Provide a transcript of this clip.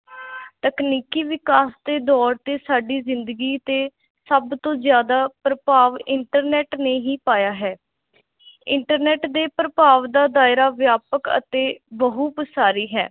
ਤਕਨੀਕੀ ਵਿਕਾਸ ਦੇ ਦੌਰ ਤੇ ਸਾਡੀ ਜ਼ਿੰਦਗੀ 'ਤੇ ਸਭ ਤੋਂ ਜ਼ਿਆਦਾ ਪ੍ਰਭਾਵ internet ਨੇ ਹੀ ਪਾਇਆ ਹੈ internet ਦੇ ਪ੍ਰਭਾਵ ਦਾ ਦਾਇਰਾ ਵਿਆਪਕ ਅਤੇ ਬਹੁ ਪਸਾਰੀ ਹੈ l